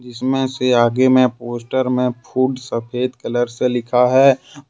इसमें से आगे में पोस्टर में फूड सफेद कलर से लिखा है और--